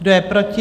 Kdo je proti?